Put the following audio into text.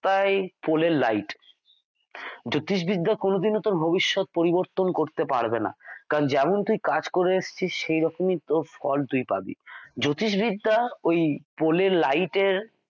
রাস্তায় পুলের লাইট জ্যোতিষবিদ্যা কোনোদিনও তোর ভবিষ্যৎ পরিবর্তন করতে পারবে না কারণ যেমন তুই কাজ করে এসেছিস সেইরকম তোর ফল তুই পাবি জ্যোতিষবিদ্যা ওই পুলের লাইটের